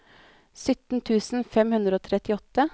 sytten tusen fem hundre og trettiåtte